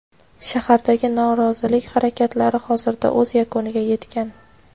Shahardagi norozilik harakatlari hozirda o‘z yakuniga yetgan.